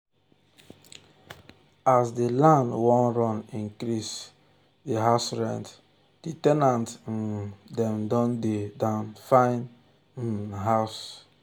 as the land wan run increase the house rent the the ten ant um dem don dey down dey find um house